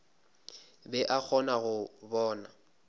be a kgona go bona